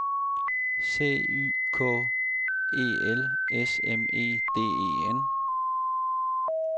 C Y K E L S M E D E N